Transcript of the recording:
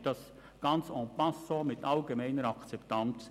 Dort geschieht das ganz «en passant» mit allgemeiner Akzeptanz.